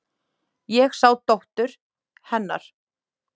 Ég sá dóttur. hennar.